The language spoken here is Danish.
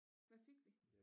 Hvad fik vi